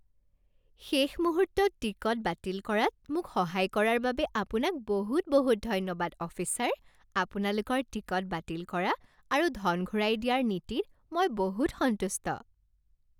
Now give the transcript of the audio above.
শেষ মুহূৰ্তত টিকট বাতিল কৰাত মোক সহায় কৰাৰ বাবে আপোনাক বহুত বহুত ধন্যবাদ অফিচাৰ, আপোনালোকৰ টিকট বাতিল কৰা আৰু ধন ঘূৰাই দিয়াৰ নীতিত মই বহুত সন্তুষ্ট।